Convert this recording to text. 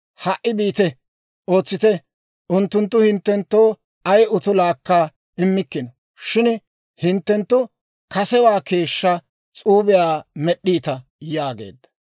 Ha"i biite; ootsite; unttunttu hinttenttoo ay utulaakka immikkino; shin hinttenttu kasewaa keeshshaa s'uubiyaa med'd'iita» yaageedda.